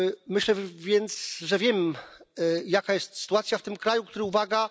Myślę więc, że wiem, jaka jest sytuacja w tym kraju, który uwaga!